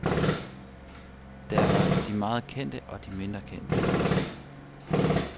Der var de meget kendte, og de mindre kendte.